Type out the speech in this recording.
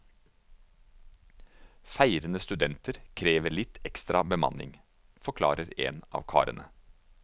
Feirende studenter krever litt ekstra bemanning, forklarer en av karene.